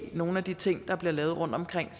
nogle af de ting der bliver lavet rundtomkring